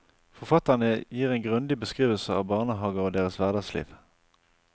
Forfatterne gir en grundig beskrivelse av barnehager og deres hverdagsliv.